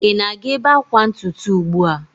Ị na-aga ebe akwa ntutu ugbu a?